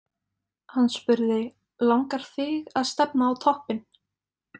Hann spurði: Langar þig að stefna á toppinn?